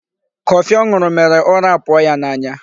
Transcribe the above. Coffee ọ ṅụrụ mèrè ụra apụọ ya n'anya.